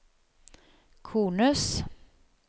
kones